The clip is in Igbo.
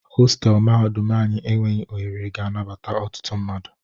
Hostelụ mahadum anyi enweghị ohere ga anabata ọtụtụ mmadụ.